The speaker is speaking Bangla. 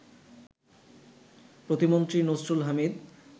প্রতিমন্ত্রী নসরুল হামিদ